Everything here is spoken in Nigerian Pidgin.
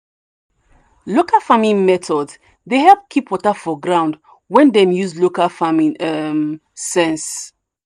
local farming methods dey help keep water for ground when dem use local farming um sense. um